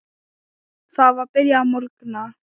Það var byrjað að morgna.